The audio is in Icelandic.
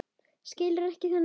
Skilur ekki þennan þjóst.